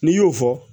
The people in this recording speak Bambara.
N'i y'o fɔ